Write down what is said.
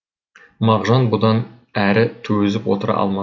мағжан бұдан әрі төзіп отыра алмады